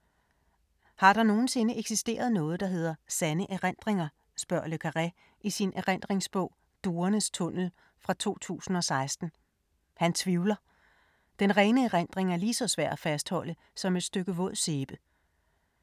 Har der nogensinde eksisteret noget, der hedder sande erindringer, spørger le Carré i sin erindringsbog Duernes tunnel fra 2016. Han tvivler: Den rene erindring er lige så svær at fastholde som et stykke våd sæbe.